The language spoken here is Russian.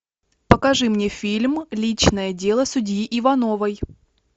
покажи мне фильм личное дело судьи ивановой